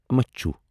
مَچُھو